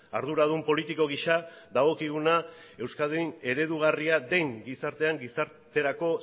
arduradun politiko giza dagokiguna euskadin eredugarria den gizartean gizarterako